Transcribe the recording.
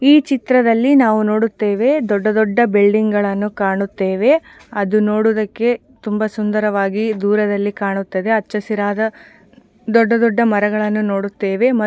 ಈ ಚಿತ್ರದಲ್ಲಿ ನಾವು ನೋಡುತ್ತೇವೆ ದೊಡ್ಡ ದೊಡ್ಡ ಬಿಲ್ಡಿಂಗ್ಗ ಳನ್ನು ಕಾಣುತ್ತೇವೆ ಅದು ನೋಡುವುದಕ್ಕೆ ತುಂಬಾ ಸುಂದರವಾಗಿ ದೂರದಲ್ಲಿ ಕಾಣುತ್ತದೆ ಅಚ್ಚಹಸಿರಾದ ದೊಡ್ಡ ದೊಡ್ಡ ಮರಗಳನ್ನು ನೋಡುತ್ತೇವೆ ಮತ್ತ್ --